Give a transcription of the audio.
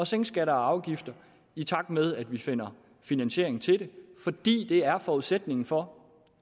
sænke skatter og afgifter i takt med at vi finder finansiering til det fordi det er forudsætningen for